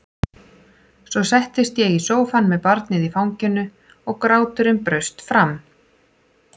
Svo settist ég í sófann með barnið í fanginu og gráturinn braust fram.